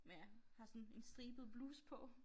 Med har sådan en en stribet bluse på